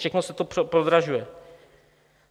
Všechno se to prodražuje.